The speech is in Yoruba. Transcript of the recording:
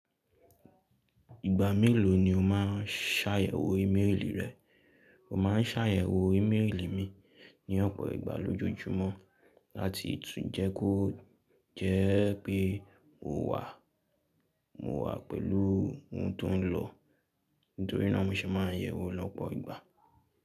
Ìgbà mélòó ni o máa ń ṣàyẹ̀wò ímélì rẹ? Mo ma ń ṣàyẹ̀wò ímélì mi ní ọ̀pọ̀ ìgbà lójoojúmọ́ láti tún jẹ́ kó jẹ́ pé mo wà, mo wà pẹ̀lú ohun tó ń lọ, nítorínà mo se ma ń yẹ̀wò lọ́pọ̀ ìgbà.